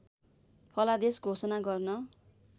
फलादेश घोषणा गर्न